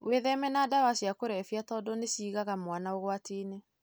Witheme na ndawa cia kũrebia tondũ nĩciigaga mwana ũgwatinĩ.